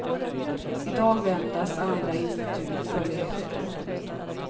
I dag väntas andra institut följa efter.